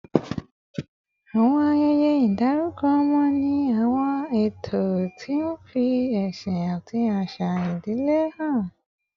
Àwọn ayẹyẹ ìdárúkọ ọmọ ní àwọn ààtò tí ń fi ẹ̀sìn àti àṣà ìdílé hàn